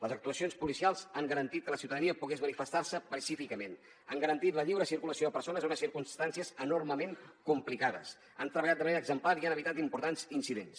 les actuacions policials han garantit que la ciutadania pogués manifestar se pacíficament han garantit la lliure circulació de persones en unes circumstàncies enormement complicades han treballat de manera exemplar i han evitat importants incidents